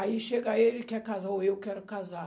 Aí chega ele e quer casar, ou eu quero casar.